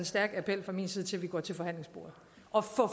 stærkt til fra min side til at vi går til forhandlingsbordet og får